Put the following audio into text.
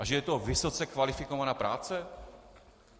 A že je to vysoce kvalifikovaná práce?